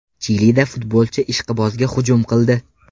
Chilida futbolchi ishqibozga hujum qildi.